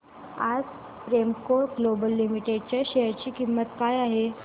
आज Premco Global Limited च्या share ची किंमत काय आहे